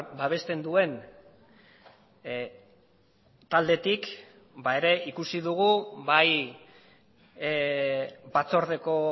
babesten duen taldetik ere ikusi dugu bai batzordeko